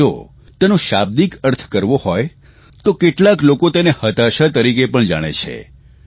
પરંતુ જો તેનો શાબ્દિક અર્થ કરવો હોય તો કેટલાક લોકો તેને હતાશા તરીકે પણ જાણે છે